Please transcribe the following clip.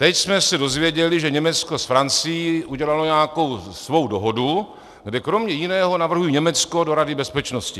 Teď jsme se dozvěděli, že Německo s Francií udělalo nějakou svou dohodu, kde kromě jiného navrhují Německo do Rady bezpečnosti.